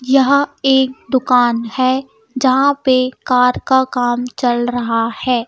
यह एक दुकान है जहाँ पे कार का काम चल रहा है.